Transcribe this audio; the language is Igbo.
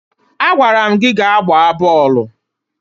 Agwara m gị gaa gbaa bọọlụ!